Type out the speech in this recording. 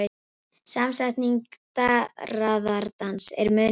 Samsetningin darraðardans er mun yngri.